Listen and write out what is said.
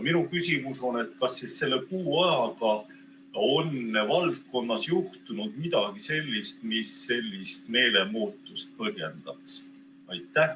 Minu küsimus on järgmine: kas selle kuu ajaga on valdkonnas juhtunud midagi sellist, mis võiks sellist meelemuutust põhjendada?